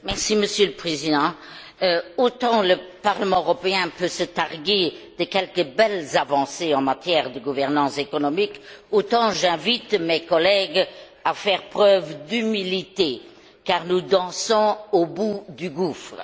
Monsieur le Président, autant le Parlement européen peut se targuer de quelques belles avancées en matière de gouvernance économique, autant j'invite mes collègues à faire preuve d'humilité car nous dansons au bord du gouffre.